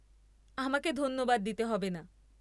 আমাকে ধন্যবাদ দিতে হবেনা।